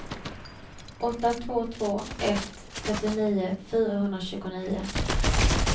åtta två två ett trettionio fyrahundratjugonio